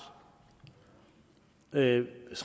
rent